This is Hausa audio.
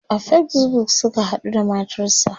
a Facebook Suka haɗu da matarsa